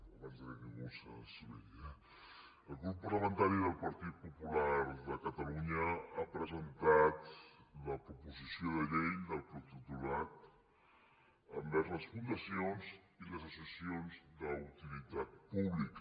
abans que ningú s’esveri eh el grup parlamentari del partit popular de catalunya ha presentat la proposició de llei del protectorat envers les fundacions i les associacions d’utilitat pública